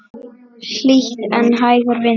Hlýtt en hægur vindur.